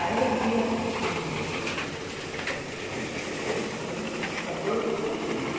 Aí um dia, isso me lembro até hoje, eu encontrei com ele dia dois de setembro.